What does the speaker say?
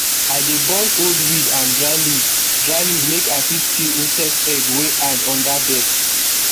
i dey burn old weed and dry leaf dry leaf make i fit kill insect egg wey hide under dirt